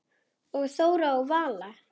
Og Þóra og Vala?